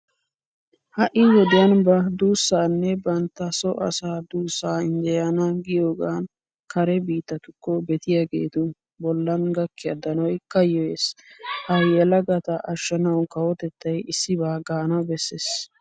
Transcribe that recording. Ha"i wodiyan ba duussaanne bantta so asaa duussaa injjeyana giyogan kare biittatukko betiyageetu bollan gakkiya danoy kayyoyees. Ha yelagata ashshanawu kawotettay issibaa gaana bessees.